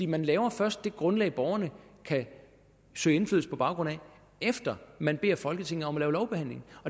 man laver først det grundlag borgerne kan søge indflydelse på baggrund af efter at man beder folketinget om at lave lovbehandling